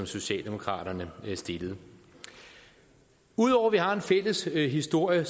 socialdemokraterne stillede ud over at vi har en fælles historie